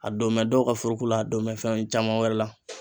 A donmɛ dɔw ka furu ko la a donmɛ fɛn caman wɛrɛ la.